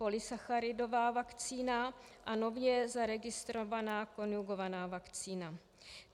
Polysacharidová vakcína a nově zaregistrovaná konjugovaná vakcína.